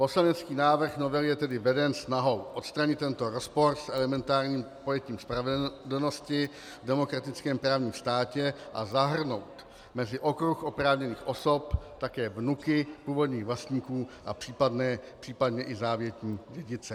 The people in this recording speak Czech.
Poslanecký návrh novely je tedy veden snahou odstranit tento rozpor s elementárním pojetím spravedlnosti v demokratickém právním státě a zahrnout mezi okruh oprávněných osob také vnuky původních vlastníků a případně i závětní dědice.